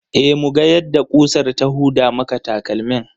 E, muga yadda ƙusar ta huda maka takalmin.